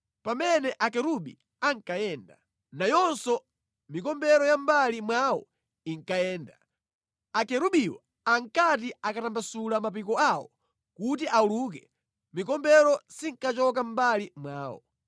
Pamene akerubi ankayenda, nayonso mikombero ya mʼmbali mwawo inkayenda. Akerubiwo ankati akatambasula mapiko awo kuti auluke mikombero sinkachoka mʼmbali mwawo.